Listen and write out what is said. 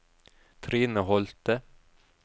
Trine Holte